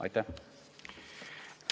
Aitäh!